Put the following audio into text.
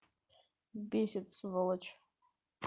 бесит сволочь